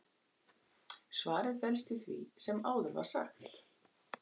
svarið felst í því sem áður var sagt